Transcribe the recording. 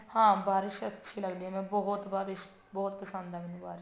ਹਾਂ ਬਾਰਿਸ਼ ਅੱਛੀ ਲੱਗਦੀ ਹੈ ਮੈਂ ਬਹੁਤ ਬਾਰਿਸ਼ ਚ ਬਹੁਤ ਪਸੰਦ ਹੈ ਮੈਨੂੰ ਬਾਰਿਸ਼